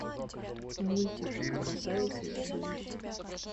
мультик красавица и чудовище